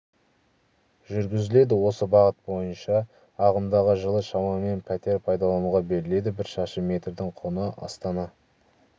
жүргізіледі осы бағыт бойынша ағымдағы жылы шамамен пәтер пайдалануға беріледі бір шаршы метрдің құны астана